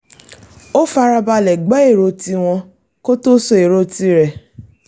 ó fara balẹ̀ gbọ́ èrò tí wọ́n kó tó sọ èrò ti rẹ̀